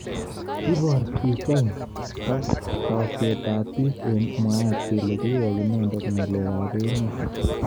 Kibor pichait takset ab bik eng mwaet kele kiwek inendet ngalalik ab emet.